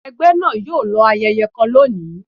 ẹgbẹ náà yoo lọ ayẹyẹ kan lóni